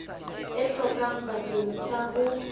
e hlokang bakeng sa ho